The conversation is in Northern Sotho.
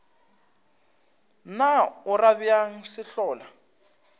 na o ra bjang sehlola